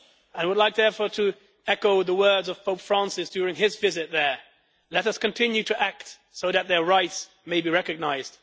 I would like therefore to echo the words of Pope Francis during his visit there Let us continue to act so that their rights may be recognised.